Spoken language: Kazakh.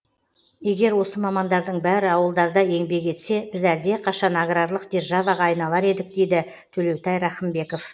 егер осы мамандардың бәрі ауылдарда еңбек етсе біз әлдеқайшан аграрлық державаға айналар едік дейді төлеутай рақымбеков